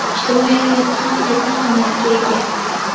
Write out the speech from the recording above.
ijtimoiy hayotda ham katta ahamiyatga ega.